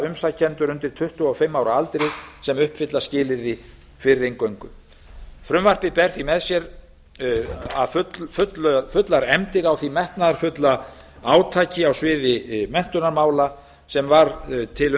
umsækjendur undir tuttugu og fimm ára aldri sem uppfylla skilyrði fyrir inngöngu frumvarpið ber því með sér fullar efndir á því metnaðarfulla átaki á sviði menntunarmála sem var til